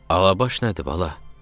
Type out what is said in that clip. "Alabaş nədir, bala?